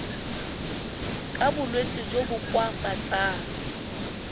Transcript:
ka bolwetsi jo bo koafatsang